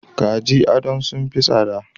Kajin ado sun fi tsada.